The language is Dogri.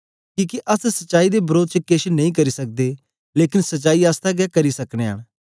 किके अस सच्चाई दे वरोध च केछ नेई करी सकदे लेकन सचाई आसतै गै करी सकनयां न